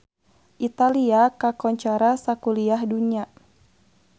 Italia kakoncara sakuliah dunya